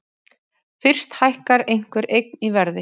Fyrst hækkar einhver eign í verði.